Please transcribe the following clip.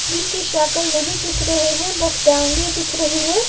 जिनकी शक्ल नहीं दिख रहे हैं बस टांगें दिख रही हैं।